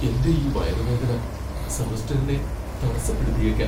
എന്റെ ഈ വയറുവേദന സെമസ്റ്ററിനെ തടസ്സപ്പെടുത്തിയേക്കാം!